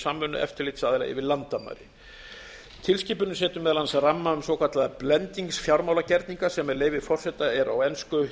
samvinnu eftirlitsaðila yfir landamæri tilskipunin setur meðal annars ramma um svokallaða blendingsfjármálagerninga sem með leyfi forseta er á ensku